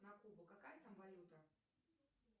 на кубу какая там валюта